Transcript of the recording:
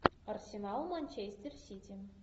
арсенал манчестер сити